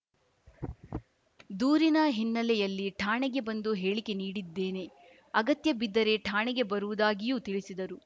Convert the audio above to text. ದೂರಿನ ಹಿನ್ನೆಲೆಯಲ್ಲಿ ಠಾಣೆಗೆ ಬಂದು ಹೇಳಿಕೆ ನೀಡಿದ್ದೇನೆ ಅಗತ್ಯಬಿದ್ದರೆ ಠಾಣೆಗೆ ಬರುವುದಾಗಿಯೂ ತಿಳಿಸಿದರು